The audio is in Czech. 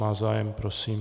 Má zájem, prosím.